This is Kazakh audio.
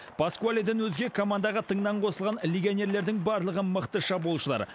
паскуаледен өзге командаға тыңнан қосылған легионерлердің барлығы мықты шабуылшылар